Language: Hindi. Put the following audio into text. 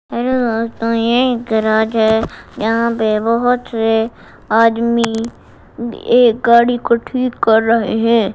अरे दोस्तों ये एक गेराज है यहां पे बहोत से आदमी एक गाड़ी को ठीक कर रहे हैं।